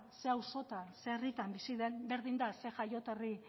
zein auzotan zein herritan bizi den berdin da zein jaioterri